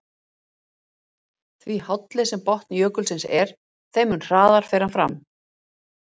Því hálli sem botn jökulsins er, þeim mun hraðar fer hann fram.